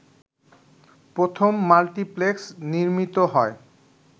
প্রথম মাল্টিপ্লেক্স নির্মিত হয়